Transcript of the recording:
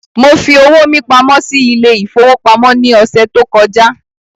Mo fi owó mí pamọ́ sí ile-ìfowópamó ní ọsẹ tó kọjá